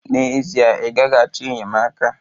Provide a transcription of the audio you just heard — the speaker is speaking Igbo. N'ezie, ị gaghị achọ enyemaka.